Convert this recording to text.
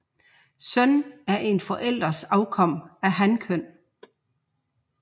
Søn er en forælders afkom af hankøn